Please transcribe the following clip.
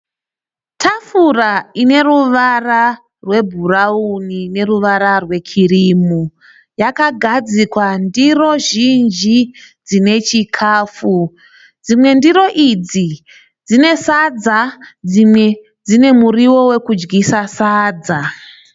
Tafura ine ruvara rwebhurawuni neruvara rwekirimu. Yakagadzikwa ndiro zhinji dzine chikafu. Dzimwe ndiro idzo dzine sadza dzimwe dzine muriwo wekudyisa sadza.